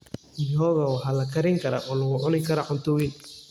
Mihogo waxaa la karin karaa oo lagu cuni karaa cunto weyn.